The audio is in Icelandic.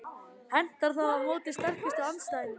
Hentar það á móti sterkustu andstæðingunum?